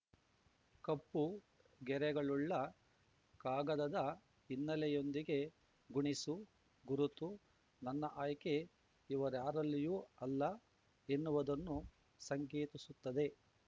ಕಪ್ಪು ಗೆರೆಗಳುಳ್ಳ ಕಾಗದದ ಹಿನ್ನೆಲೆಯೊಂದಿಗೆ ಗುಣಿಸು ಗುರುತು ನನ್ನ ಆಯ್ಕೆ ಇವರ್ಯಾರಲ್ಲಿಯೂ ಅಲ್ಲ ಎನ್ನುವುದನ್ನು ಸಂಕೇತಿಸುತ್ತದೆ